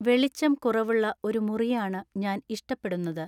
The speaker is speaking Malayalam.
വെളിച്ചം കുറവുള്ള ഒരു മുറിയാണ് ഞാൻ ഇഷ്ടപ്പെടുന്നത്.